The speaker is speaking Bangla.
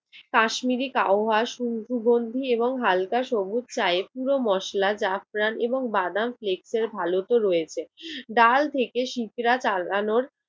কাশ্মীরি কাওহার সুখ~ গন্ধি এবং হালকা সবুজ চায়ে পুরো মসলা জাফরান এবং বাদাম প্লেক্স এর ভালুকও রয়েছে। ডাল থেকে শিপ্রা টাঙানোর